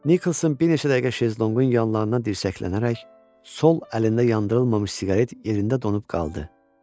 Niklson bir neçə dəqiqə şezlonqun yanlarından dirsəklənərək sol əlində yandırılmamış siqaret yerində donub qaldı.